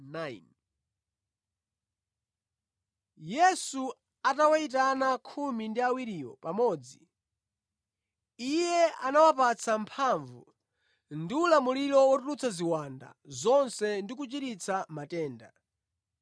Yesu atawayitana khumi ndi awiriwo pamodzi, Iye anawapatsa mphamvu ndi ulamuliro wotulutsa ziwanda zonse ndi kuchiritsa matenda.